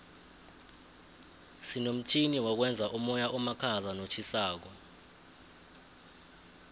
sinomtjhini wokwenza umoya omakhaza notjhisako